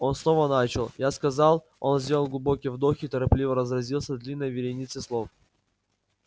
он снова начал я сказал он сделал глубокий вдох и торопливо разразился длинной вереницей слов